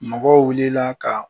Mɔgɔw wulila ka